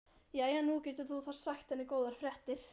Jæja, nú getur þú þá sagt henni góðar fréttir.